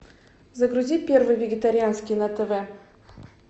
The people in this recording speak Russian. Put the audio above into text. загрузи первый вегетарианский на тв